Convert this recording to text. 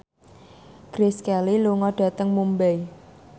Grace Kelly lunga dhateng Mumbai